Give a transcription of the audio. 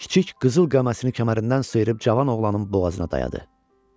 Kiçik qızıl qəməsini kəmərindən sıyırıb cavan oğlanın boğazına dayadı.